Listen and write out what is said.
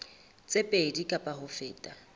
tse pedi kapa ho feta